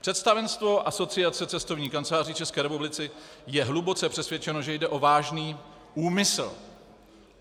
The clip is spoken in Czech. Představenstvo Asociace cestovních kanceláří České republiky je hluboce přesvědčeno, že jde o vážný úmysl.